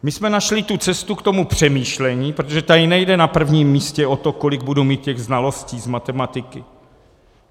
My jsme našli tu cestu k tomu přemýšlení, protože tady nejde na prvním místě o to, kolik budu mít těch znalostí z matematiky.